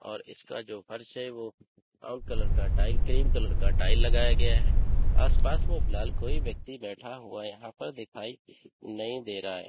और इसका जो फर्श है वो क्रीम कलर का टाइल लगाया गया है आसपास में फिलहाल कोई व्यक्ति बैठा हुआ यहां पर दिखाई नहीं दे रहा है।